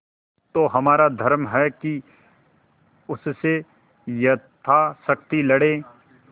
तो हमारा धर्म है कि उससे यथाशक्ति लड़ें